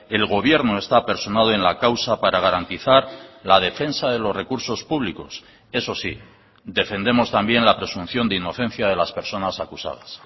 el gobierno está personado en la causa para garantizar la defensa de los recursos públicos eso sí defendemos también la presunción de inocencia de las personas acusadas